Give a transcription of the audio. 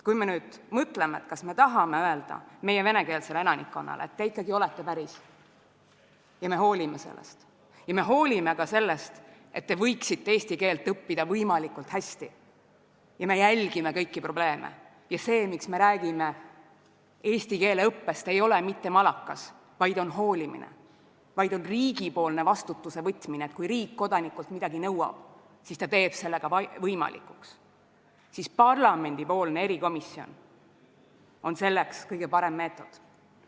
Kui me nüüd mõtleme, kas me tahame öelda meie venekeelsele elanikkonnale, et te ikkagi olete päris ja me hoolime sellest, ja me hoolime ka sellest, et te võiksite eesti keelt õppida võimalikult hästi, ja me jälgime kõiki probleeme – ja see, miks me räägime eesti keele õppest, ei ole mitte malakas, vaid hoolimine ja riigi vastutus, et kui riik kodanikult midagi nõuab, siis ta teeb selle ka võimalikuks –, siis parlamendi erikomisjon on selleks kõige parem meetod.